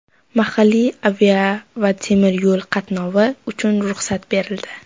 Mahalliy avia va temir yo‘l qatnovi uchun ruxsat berildi.